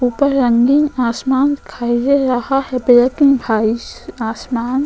ऊपर रंगीन आसमान दिखाई दे रहा है --